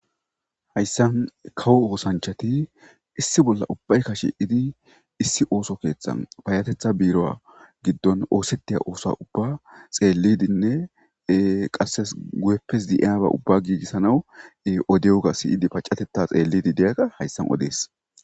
Hayssan kawo oosanchati issi bolla ubbay kashe idi issi ooso keeththa payatetha biiro'a giddon oosettiya oosa ubba xeellidinne qasses gu'eppes di'aba ubba giigissanaw odewuga siyidi paccatetta xeellidi deyakka hayssan odees.